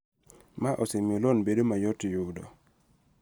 Ma osemiyo loan bedo mayot yudo.